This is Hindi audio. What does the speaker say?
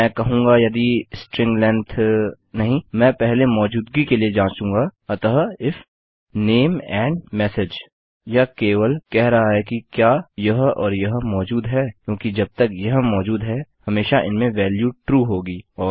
मैं कहूँगा यदि स्ट्रिंग लेन्थ नहीं मैं पहले मौजूदगी के लिए जाँचूंगा अतः इफ नामे एंड मेसेज यह केवल कह रहा है कि क्या यह और यह मौजूद है क्योंकि जब तक यह मौजूद है हमेशा इनमें वेल्यू ट्रू होगी